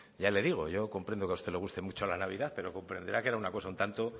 ya le digo yo comprendo que a usted le guste mucho la navidad pero comprenderá que era una cosa un tanto